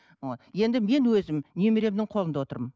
ы енді мен өзім немеремнің қолында отырмын